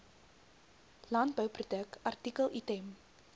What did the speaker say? landbouproduk artikel item